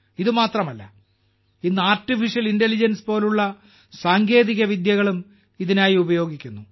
ഇത് മാത്രമല്ല ഇന്ന് ആർട്ടിഫിഷ്യൽ ഇന്റലിജൻസ് പോലുള്ള സാങ്കേതിക വിദ്യകളും ഇതിനായി ഉപയോഗിക്കുന്നു